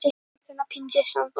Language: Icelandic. Fljúga frjáls inn í tímaleysið.